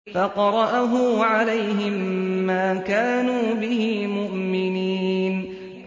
فَقَرَأَهُ عَلَيْهِم مَّا كَانُوا بِهِ مُؤْمِنِينَ